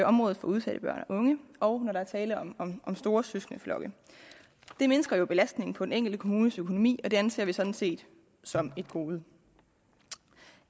området for udsatte børn og unge og når der er tale om om store søskendeflokke det mindsker belastningen på den enkelte kommunes økonomi og det anser vi sådan set som et gode